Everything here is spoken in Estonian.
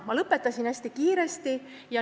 Ma rääkisin hästi kiiresti.